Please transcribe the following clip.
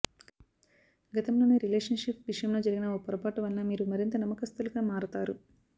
గతంలోని relationship విషయంలో జరిగిన ఓ పొరపాటు వలన వీరు మరింత నమ్మకస్తులుగా మారతారు